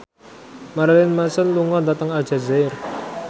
Marilyn Manson lunga dhateng Aljazair